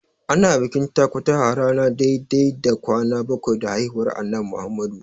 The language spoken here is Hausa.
Ana bikin takutaha ranar dai-dai da kwana bakwai da haihuwar Annabi Muhammadu.